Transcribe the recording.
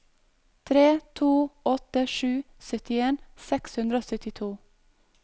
tre to åtte sju syttien seks hundre og syttito